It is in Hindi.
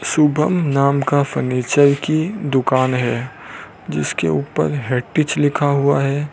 शुभम नाम का फर्नीचर की दुकान है जिसके ऊपर हेटीच लिखा हुआ है।